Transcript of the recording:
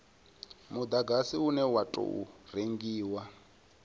mudagasi une wa tou rengiwa